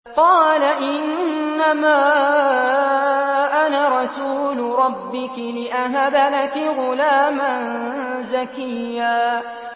قَالَ إِنَّمَا أَنَا رَسُولُ رَبِّكِ لِأَهَبَ لَكِ غُلَامًا زَكِيًّا